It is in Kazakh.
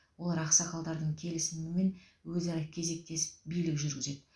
олар ақсақалдардың келісімімен өзара кезектесіп билік жүргізеді